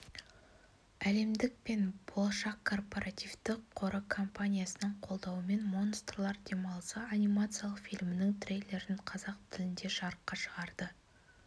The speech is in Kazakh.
әлемдік пен болашақ корпоративті қоры компаниясының қолдауымен монстрлар демалысы анимациялық фильмінің трейлерін қазақ тілінде жарыққа шығарды